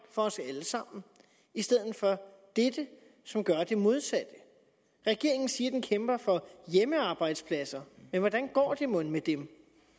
for os alle sammen i stedet for dette som gør det modsatte regeringen siger at den kæmper for hjemmearbejdspladser men hvordan går det mon med dem